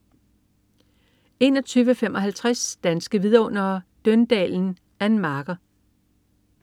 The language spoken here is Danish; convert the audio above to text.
21.55 Danske Vidundere: Døndalen. Ann Marker